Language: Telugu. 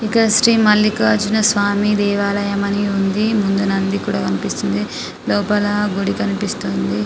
ఇక్కడ శ్రీ మల్లికార్జున స్వామి దేవాలయం అని ఉంది ముందు నంది కూడా కనిపిస్తుంది లోపల గుడి కనిపిపిస్తుంది.